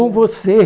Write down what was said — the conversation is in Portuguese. É com você.